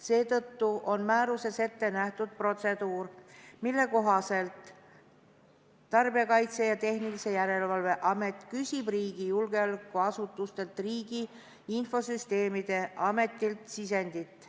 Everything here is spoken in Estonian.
Seetõttu on määruses ette nähtud protseduur, mille kohaselt Tarbijakaitse ja Tehnilise Järelevalve Amet küsib riigi julgeolekuasutustelt ja Riigi Infosüsteemi Ametilt sisendit.